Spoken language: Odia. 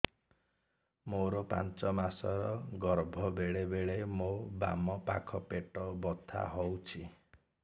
ମୋର ପାଞ୍ଚ ମାସ ର ଗର୍ଭ ବେଳେ ବେଳେ ମୋ ବାମ ପାଖ ପେଟ ବଥା ହଉଛି